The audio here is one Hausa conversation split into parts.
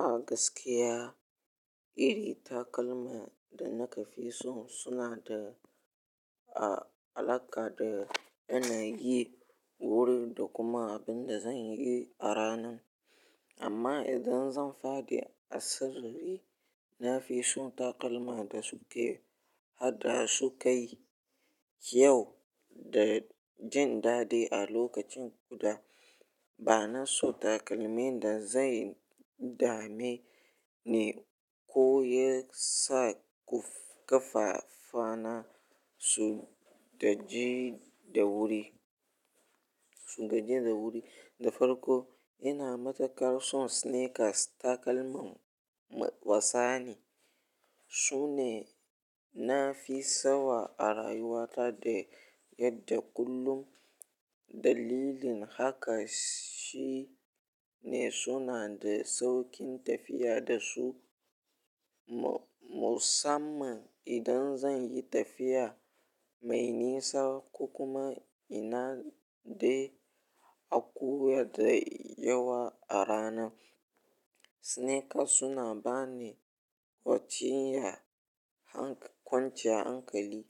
A gaskiya, irin takalma da nake fi so suna da a-alaka da ina yi wuri da kuma abin da zan yi a ranan. Amma idan zan fadi asiri, na fi son takalma da suke haddasa kai, kyau da jin daɗi a lokacin guda. Ba na so takalmin da zai dame ni ko yasa kafafana su gaji da wuri, su gaji da wuri. Da farko ina matu karson sneakers takalmin wassani. Su ne na fi sawa a rayuwata da yadda kullum dalilin haka shi ne suna da sauƙin tafiya da su. Mu-musamman idan zan yi tafiya mai nisa ko kuma inna de akuya da yawa a rana. Sneakers suna bani kwanciya hankali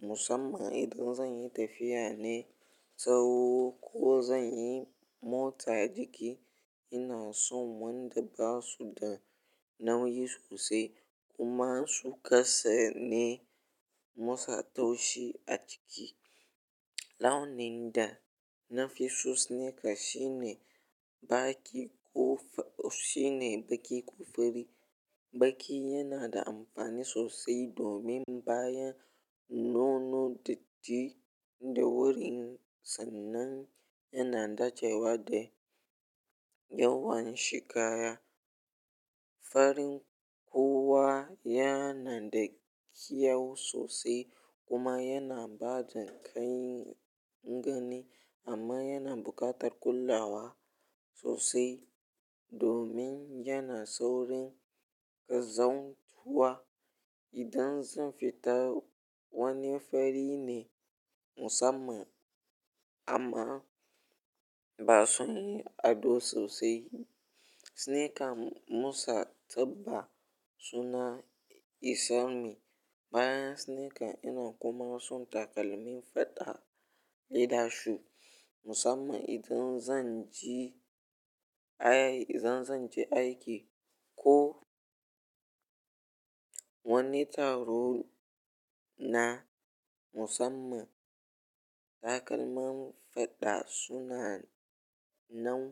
musamman idan zan yi tafiya ne tsaho ko zan yi motsa jiki. Ina son wanda ba su da nauyi sosai kuma su kasa ne motsa taushi a jiki. Launin da na fi so sneakers shine baki ko shine baki ko fari. Baki yana da amfani sosai domin bayan nono datti da wurin sannan yana dacewa da yawan shika ya. Farin kuwa yana da kyau sosai kuma yana bada ƙai'n gani amma yana buƙatar kulawa sosai domin yana saurin ƙazantuwa idan zan fita wani fari ne musamman amma ba sun yi ado sosai. Sneakers motsa taɓa suna isalmi bayan sneakers ina kuma son takalmin faɗa idan su musamman idan zan je ayayi idan zan je aiki ko wani taro na musamman. Takalmin faɗa suna nan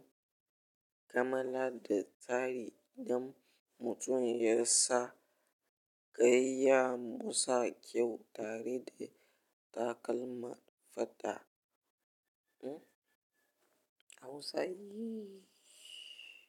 kamala da tsari don mutum yasa kai ya motsa kyau tare da takalman fata. Hmm, Hausa yee.